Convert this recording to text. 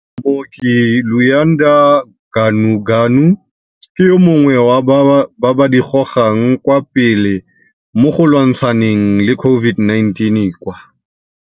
Mooki Luyanda Ganuganu ke yo mongwe wa ba ba di gogang kwa pele mogo lwantshaneng le COVID-19 kwa.